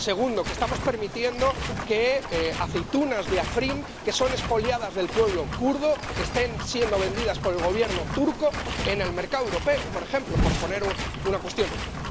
Segundo, que estamos permitiendo que aceitunas de Afrín, que son expoliadas del pueblo kurdo, estén siendo vendidas por el Gobierno turco en el mercado europeo, por poner un ejemplo.